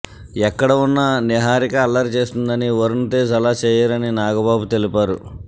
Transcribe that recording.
ఎక్కడ ఉన్నా నిహారిక అల్లరి చేస్తుందని వరుణ్ తేజ్ అలా చేయరని నాగబాబు తెలిపారు